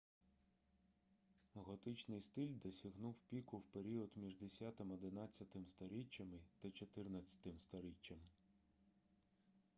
готичний стиль досягнув піку в період між 10-11-м сторіччями та 14-м сторіччям